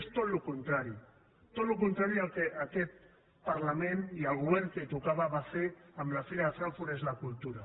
és tot el contrari tot el contrari del que aquest parlament i el govern que tocava va fer amb la fira de frankfurt és la cultura